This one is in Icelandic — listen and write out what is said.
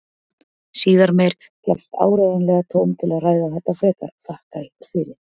Síðar meir gefst áreiðanlega tóm til að ræða þetta frekar, þakka ykkur fyrir.